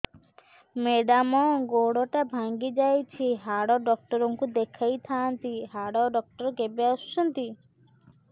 madam ଗୋଡ ଟା ଭାଙ୍ଗି ଯାଇଛି ହାଡ ଡକ୍ଟର ଙ୍କୁ ଦେଖାଇ ଥାଆନ୍ତି ହାଡ ଡକ୍ଟର କେବେ ଆସୁଛନ୍ତି